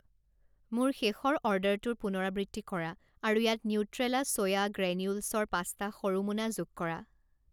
মোৰ শেষৰ অৰ্ডাৰটোৰ পুনৰাবৃত্তি কৰা আৰু ইয়াত নিউট্ৰেলা ছোয়া গ্ৰেনিউলছৰ পাঁচটা সৰু মোনা যোগ কৰা।